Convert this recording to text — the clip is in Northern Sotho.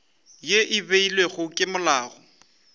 ye e beilwego ke molao